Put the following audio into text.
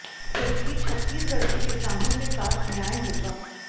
फिर भी छत्तीसगढ़ के किसानों के साथ न्याय होगा